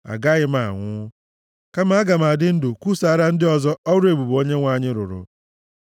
Agaghị m anwụ, kama aga m adị ndụ kwusaara ndị ọzọ ọrụ ebube Onyenwe anyị rụrụ.